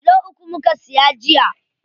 Kilo uku muka siya jiya.